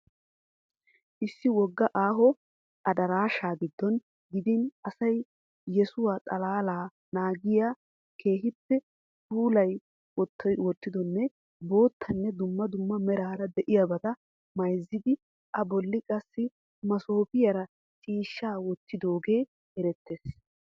Issi wogga aaho adarashshaa gidon gidin asaaa yuussaa xalaala naagiya keehiipe pulayi wottidonne boottanne dumma dumma merara de'iyaabata mayzzidi, a bolli qassi masofiyaara ciishshaa wottidoogee erettees.